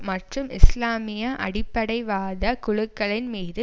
மற்றும் இஸ்லாமிய அடிப்படைவாத குழுக்களின் மீது